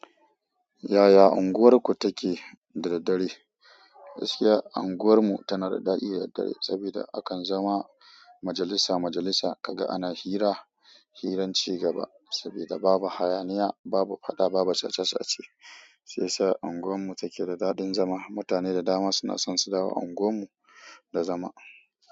Yaya unguwarku take da daddare? Gaskiya unguwarmu tana da daɗi da dare saboda akan zama majalisa majalisa, ka ga ana hira, hirar cigaba saboda babu hayaniya, babu faɗa, babu sace-sace. Shi yasa unguwarmu take da daɗin zama. Mutane da dama suna son su dawo unguwarmu da zama.